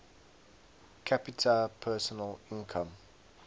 capita personal income